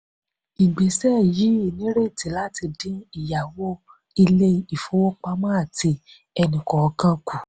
ìgbésẹ yìí nírètí láti din ìyáwó ilé-ìfowópamọ́ àti ẹni-kọọkan kù.